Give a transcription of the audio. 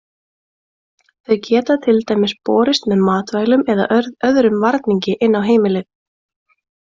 Þau geta til dæmis borist með matvælum eða öðrum varningi inn á heimilið.